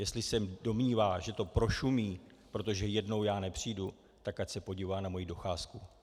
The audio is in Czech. Jestli se domnívá, že to prošumí, protože jednou já nepřijdu, tak ať se podívá na moji docházku.